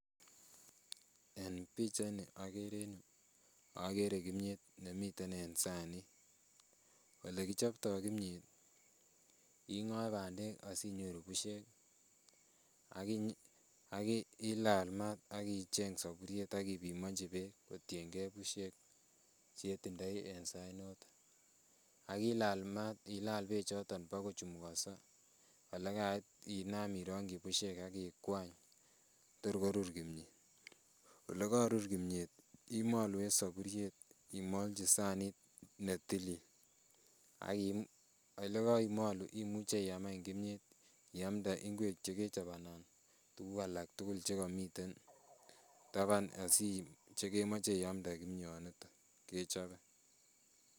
En pichait ni okere en yuu okere kimiet nemiten en sanit. Olekichoptoo kimiet, ing'oe bandek asinyoru busiek ak ilal maat ak icheng soburiet ak ipimonji beek kotiengee busiek chetindoi en sait noton ak ilal maat ilal beek choton bokochumukonso olekait inam irongyi busiek ak ikwany tor korur kimiet. Olekorur kimiet imolu en soburiet imolji sanit netilil ak elekeimolu imuche iam any kimiet iamde ingwek chekechob anan tuguk alak tugul chekomiten taban asiib chekemoche iamde kimioniton kechobe.